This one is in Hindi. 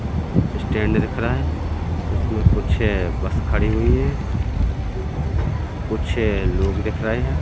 स्टैंड दिख रहा है उसमें कुछ बस खड़ी हुई है कुछ लोग दिखाई दे रहे हैं।